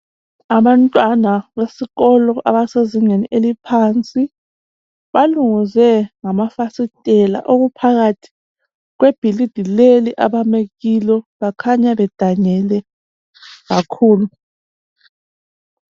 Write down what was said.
Abantwana besikolo abasezingeni eliphansi balungize ngamafasitela okuphakathi kwebhilidi leli abame kilo bakhanya bedanile kakhulu.